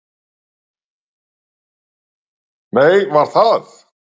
Nei, var það.